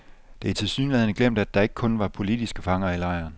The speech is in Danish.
Det er tilsyneladende glemt, at der ikke kun var politiske fanger i lejren.